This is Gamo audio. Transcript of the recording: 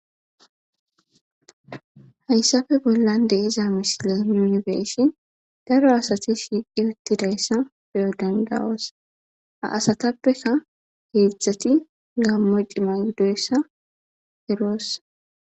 hayssafe bollan de iza misile yunifesi daro asati shiiqi uttidayssa beyo dandawosa a asatappeka heedzdzati gammoy cimaidoyssa erossa